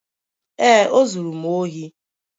Ee, o zuru m ohi